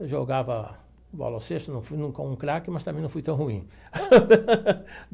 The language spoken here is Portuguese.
Eu jogava bola ao cesto, não fui como um craque, mas também não fui tão ruim.